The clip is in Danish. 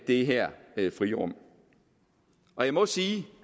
det her frirum jeg må sige